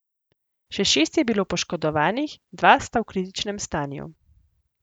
Še šest je bilo poškodovanih, dva sta v kritičnem stanju.